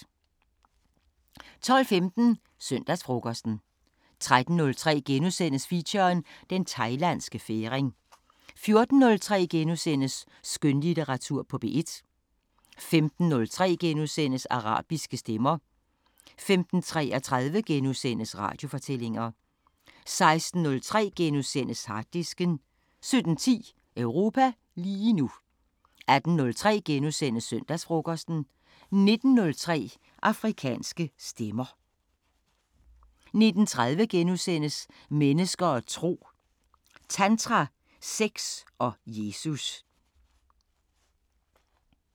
12:15: Søndagsfrokosten 13:03: Feature: Den Thailandske Færing * 14:03: Skønlitteratur på P1 * 15:03: Arabiske Stemmer * 15:33: Radiofortællinger * 16:03: Harddisken * 17:10: Europa lige nu 18:03: Søndagsfrokosten * 19:03: Afrikanske Stemmer 19:30: Mennesker og tro: Tantra, sex og Jesus *